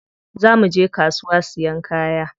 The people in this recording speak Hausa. Za muje kasuwa siyan kaya.